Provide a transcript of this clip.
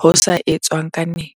ho sa etswang ka nepo